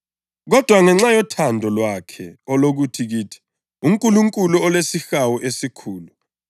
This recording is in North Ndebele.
Kodwa ngenxa yothando lwakhe olukhulu kithi, uNkulunkulu olesihawu esikhulu,